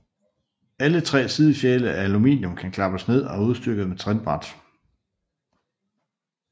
Alle tre sidefjæle af aluminium kan klappes ned og er udstyret med trinbræt